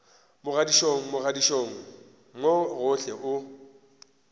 mogaditšong mogaditšong mo gohle o